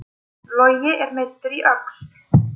Logi er meiddur í öxl